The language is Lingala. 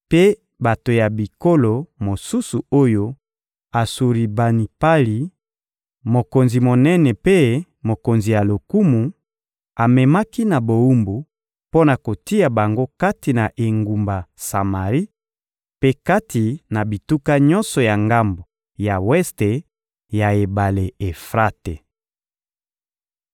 mpe bato ya bikolo mosusu oyo Asuribanipali, mokonzi monene mpe mokonzi ya lokumu, amemaki na bowumbu mpo na kotia bango kati na engumba Samari mpe kati na bituka nyonso ya ngambo ya weste ya ebale Efrate.»